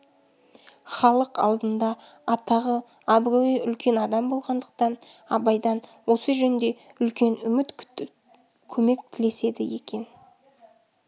халық алдында атағы абыройы үлкен адам болғандықтан абайдан осы жөнде үлкен үміт күтіп көмек тілеседі екен